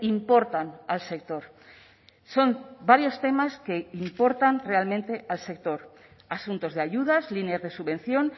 importan al sector son varios temas que importan realmente al sector asuntos de ayudas líneas de subvención